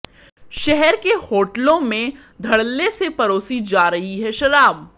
शहर के होटलों में धड़ल्ले से परोसी जा रही है शराब